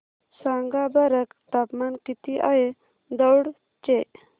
सांगा बरं तापमान किती आहे दौंड चे